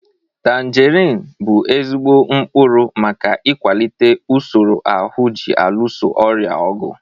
Tanjerin bụ ezigbo mkpụrụ maka ịkwalite usoro ahụ ji alụso ọrịa ọgụ.